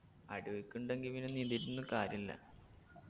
അടിയൊഴുക്കുണ്ടെങ്കി പിന്ന നീന്തീട്ടൊന്നു കാര്യുല്ല